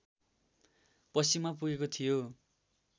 पश्चिममा पुगेको थियो